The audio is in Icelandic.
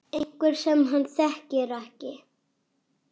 Einhver sem hann þekkir ekki.